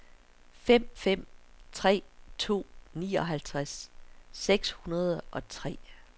fem fem tre to nioghalvtreds seks hundrede og tre